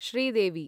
Sridevi